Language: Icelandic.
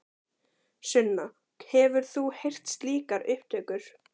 Sunna: Hefur þú heyrt slíkar upptökur?